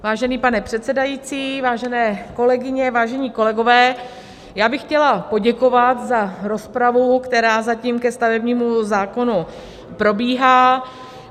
Vážený pane předsedající, vážené kolegyně, vážení kolegové, já bych chtěla poděkovat za rozpravu, která zatím ke stavebnímu zákonu probíhá.